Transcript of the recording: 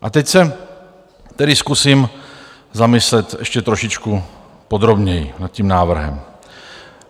A teď se tedy zkusím zamyslet ještě trošičku podrobněji nad tím návrhem.